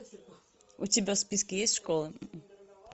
у тебя в списке есть школа